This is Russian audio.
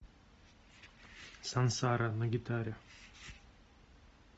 сансара на гитаре